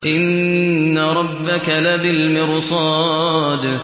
إِنَّ رَبَّكَ لَبِالْمِرْصَادِ